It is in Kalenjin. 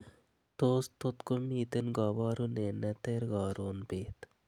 tos tot komiten koborunet neter korun beet